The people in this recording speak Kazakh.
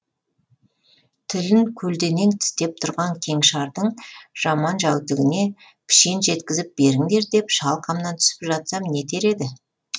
тілін көлденең тістеп тұрған кеңшардың жаман жәутігіне пішен жеткізіп беріңдер деп шалқамнан түсіп жатсам нетер еді